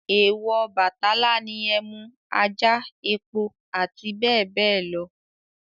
Èwọ̀ Ọbàtálá ni ẹmú, ajá, epo àti bẹ́ẹ̀ bẹ́ẹ̀ lọ